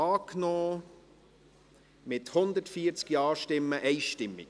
Sie haben diesen Antrag mit 140 Ja-Stimmen einstimmig angenommen.